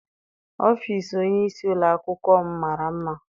Ọfịịsi onyeisi ụlọakwụkwọ m mara mma.